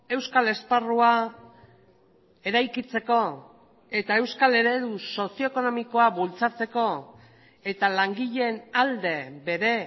euskal esparrua eraikitzeko eta euskal eredu sozio ekonomikoa bultzatzeko eta langileen alde bere